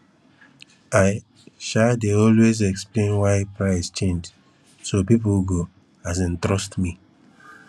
i um dey always explain why price change so people go um trust me